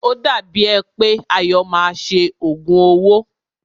O dàbí è pé Ayọ̀ máa ṣe òògùn owó.